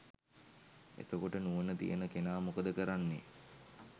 එතකොට නුවණ තියෙන කෙනා මොකද කරන්නේ